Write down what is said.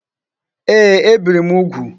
Ee, e biri m ugwu